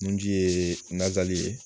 Nunji ye n'a